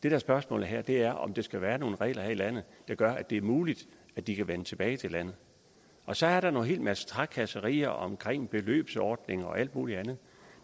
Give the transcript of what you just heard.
er spørgsmålet her er om der skal være nogle regler her i landet der gør at det er muligt at de kan vende tilbage til landet så er der en hel masse trakasserier om beløbsordning og alt muligt andet